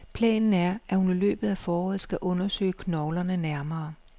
Planen er, at hun i løbet af foråret skal undersøge knoglerne nærmere.